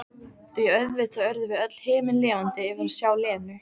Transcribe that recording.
Því auðvitað urðum við öll himinlifandi yfir að sjá Lenu.